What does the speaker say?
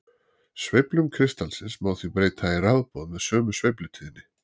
Sveiflum kristallsins má því breyta í rafboð með sömu sveiflutíðni.